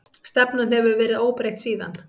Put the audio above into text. Stefnan hefur verið óbreytt síðan.